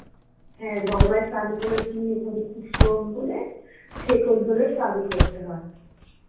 হ্যাঁ গঙ্গায় স্নান করেছি তবে খুব স্রোত বলে ছেকল ধরে স্নান করতে হয়